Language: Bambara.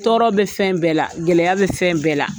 Tɔɔrɔ bɛ fɛn bɛɛ la gɛlɛya bɛ fɛn bɛɛ la.